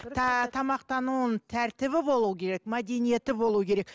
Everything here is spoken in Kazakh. тамақтануының тәртібі болуы керек мәдениеті болу керек